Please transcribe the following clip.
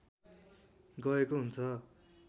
गएको हुन्छ